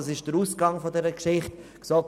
Was hat jetzt die GSoK gemacht?